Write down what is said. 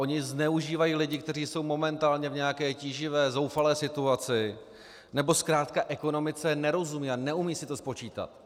Oni zneužívají lidi, kteří jsou momentálně v nějaké tíživé, zoufalé situaci, nebo zkrátka ekonomice nerozumí a neumí si to spočítat.